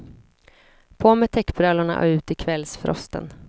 På med täckbrallorna och ut i kvällsfrosten.